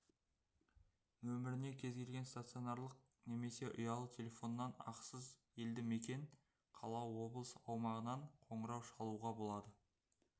нөміріне кез келген стационарлық немесе ұялы телефоннан ақысыз елді мекен қала облыс аумағынан қоңырау шалуға болады